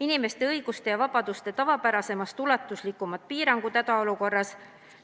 Inimeste õiguste ja vabaduste tavapärasemast ulatuslikumad piirangud hädaolukorras